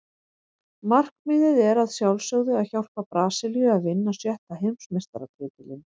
Markmiðið er að sjálfsögðu að hjálpa Brasilíu að vinna sjötta Heimsmeistaratitilinn.